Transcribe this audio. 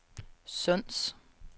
Sunds